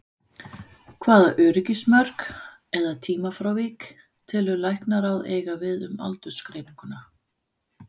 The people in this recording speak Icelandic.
Hvaða öryggismörk eða tímafrávik telur Læknaráð eiga við um aldursgreininguna?